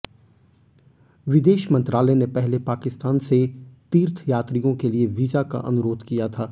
विदेश मंत्रालय ने पहले पाकिस्तान से तीर्थयात्रियों के लिए वीजा का अनुरोध किया था